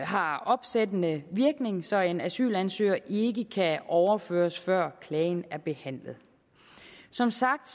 har opsættende virkning så en asylansøger ikke kan overføres før klagen er behandlet som sagt